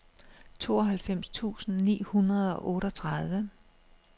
tooghalvfems tusind ni hundrede og otteogtredive